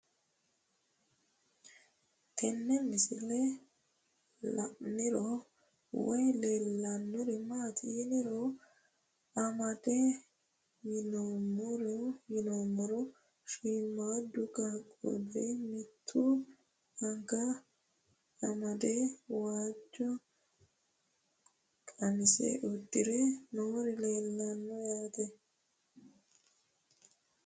Tenne misilenni la'nanniri woy leellannori maattiya noori amadde yinummoro shiimmaddu qaaqulli mimittu anga amade waajjo qamise uddire noori leellanno yaatte